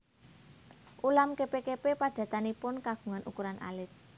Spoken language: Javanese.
Ulam kepe kepe padatanipun kagungan ukuran alit